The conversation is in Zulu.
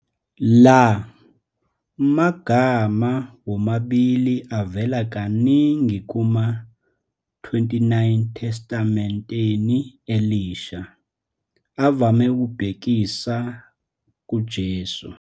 La magama womabili avela kaningi kuma-29 eTestamenteni Elisha, avame ukubhekisa kuJesu.